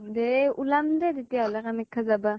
দে ওলাম দে, তেতিয়াহলে কামাখ্যা যাবা ?